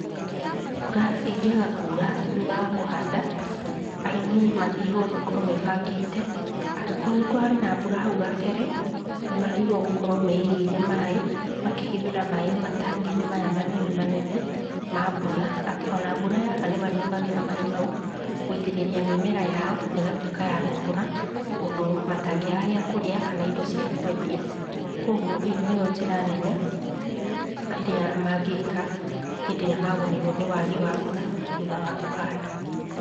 Mbura ĩngĩaga kuura thuutha wa kũhanda, arĩmi magĩrĩirwo makorwo mebangĩte. Angĩkorwo nĩkũrarĩ na mbura hau kabere nĩmagĩrĩirwo gũkorwo meigĩire maaĩ, makehithĩra maaĩ matangi-inĩ maya manene manene ma mbura atĩ ona mbura yaga nĩmarĩhũthĩraga maaĩ mau gwĩtĩrĩria mĩmera yao, na ĩgatuĩka ya gũkũra ũndũ matangĩaga gĩakũrĩa kana indo cia kwendia. Kwogwo ĩyo nĩyo njĩra nene ĩrĩa mangĩka hĩndĩ ĩrĩa magũmĩirwo nĩ wagi wa mbura thuutha wa kũhanda.